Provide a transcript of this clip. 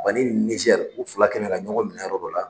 ni Nizɛri u fila kɛlen ka ɲɔgɔn minɛ yɔrɔ dɔ la